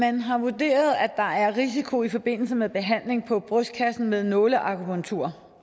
man har vurderet at der er en risiko i forbindelse med behandling på brystkassen med nåleakupunktur